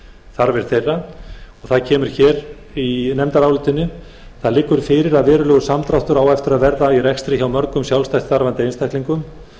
þarfir þeirra það liggur fyrir að verulegur samdráttur á eftir að verða í rekstri hjá mörgum sjálfstætt starfandi einstaklingum